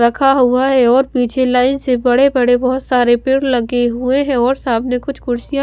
रखा हुआ है और पीछे लाइन से बड़े बड़े बहोत सारे पेड़ लगे हुए हैं और सामने कुछ कुर्सियां--